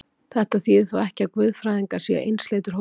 Þetta þýðir þó ekki, að guðfræðingar séu einsleitur hópur.